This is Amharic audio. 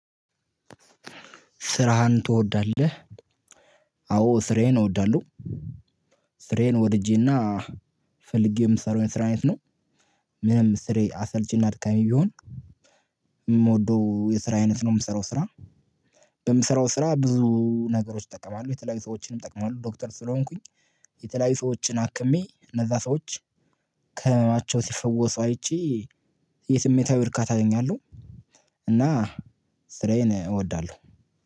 ስራህን ትወዳለህ? አዎ ስራዬን እወዳለሁ። ስራዬን ወድጄና ፈልጌ የምሰራው የስራ አይነት ነው። ምንም ስራዬ አሰልቺና አድካሚ ቢሆን የምወደው የስራ አይነት ነው የምሰራው ስራ። በምሰራው ስራ ብዙ ነገሮች እጠቀማለሁ የተለያዩ ሰዎችንም እጠቅማለሁ ዶክተር ስለሆንኩኝ የተለያዩ ሰዎችን አክሜ እነዛ ሰዎች ከህመማቸው ሲፈወሱ አይቼ የስሜታዊ እርካታ አገኛለሁ። እና ስራዬን እወዳለሁ።